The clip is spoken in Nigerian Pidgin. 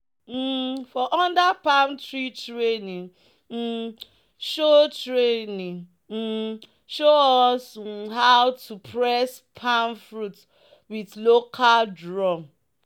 um "for under palm tree training um show training um show us um how to press palm fruit with local drum."